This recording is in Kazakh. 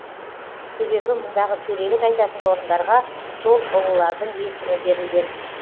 себебі мұндағы төрелік айтатын орындарға сол ұлылардың есімі берілген